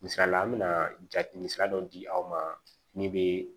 Misalila an mina jati misali dɔ di aw ma min be